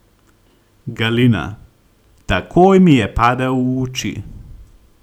Galina: "Takoj mi je padel v oči!